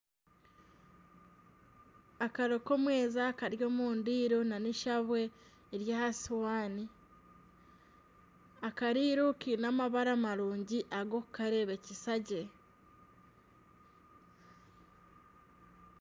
Akaro komweeza Kari omu ndiiro nana esabwe eri aha sihaani akareiro Kaine amabara marungi agokukarebekyesa gye.